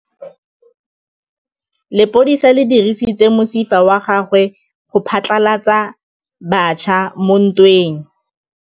Lepodisa le dirisitse mosifa wa gagwe go phatlalatsa batšha mo ntweng.